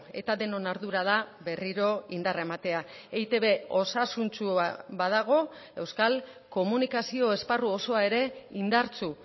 eta denon ardura da berriro indarra ematea eitb osasuntsua badago euskal komunikazio esparru osoa ere indartsu